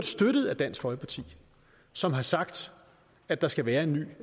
støttet af dansk folkeparti som har sagt at der skal være en ny